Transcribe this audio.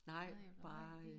Nej bare øh